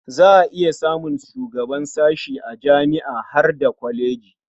Za a iya samun shugaban sashe a jami'a har da kwalejoji.